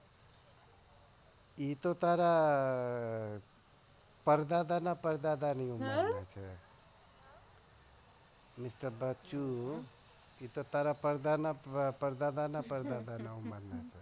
એ તો તારા પરદાદા ના પરદાદા ઉંમરના છે mister બચ્ચું પરદાદા ના પરદાદા ની ઉમર ના છે.